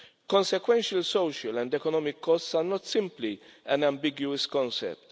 Consequential social and economic costs are not simply an ambiguous concept.